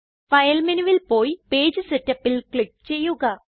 file മെനുവിൽ പോയി page Setupൽ ക്ലിക്ക് ചെയ്യുക